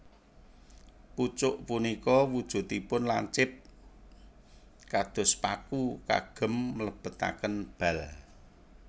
Pucuk punika wujudipun lancip kados paku kagem mlebetaken bal